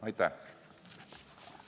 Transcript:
Aitäh!